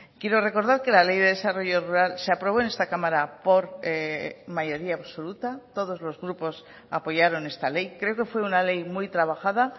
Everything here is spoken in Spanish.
quiero recordar que la ley de desarrollo rural se aprobó en esta cámara por mayoría absoluta todos los grupos apoyaron esta ley creo que fue una ley muy trabajada